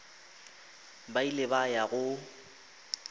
ba ile ba ya go